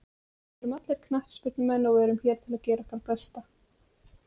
Við erum allir knattspyrnumenn og við erum hér til að gera okkar besta.